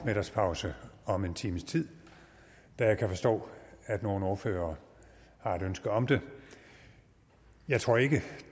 middagspause om en times tid da jeg kan forstå at nogle ordførere har et ønske om det jeg tror ikke at